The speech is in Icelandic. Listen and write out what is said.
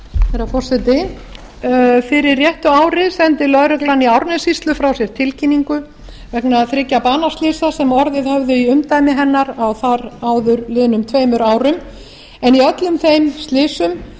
herra forseti fyrir réttu ári sendi lögreglan í árnessýslu frá sér tilkynningu vegna þriggja banaslysa sem orðið höfðu í umdæmi hennar á þar áður liðnum tveimur árum en í öllum þeim slysum